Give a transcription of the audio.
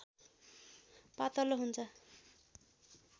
पातलो हुन्छ